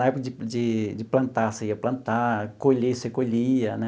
Na época de de de plantar, você ia plantar, colher, você colhia, né?